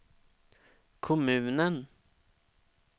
kommunen